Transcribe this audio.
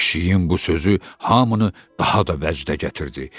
Pişiyin bu sözü hamını daha da vəcdə gətirdi.